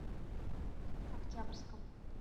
октябрьском